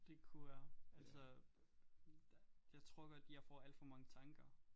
Det kunne være altså jeg tror godt jeg får alt for mange tanker